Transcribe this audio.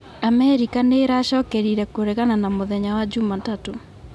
Amerikanĩracokerire kũregana na mũthenya wa Juma tatũ